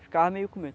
Ficava meio com medo.